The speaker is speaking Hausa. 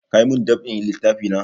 Ka yi mun dab'in littafi na?